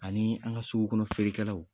Anii an ka sugu kɔnɔ feerekɛlaw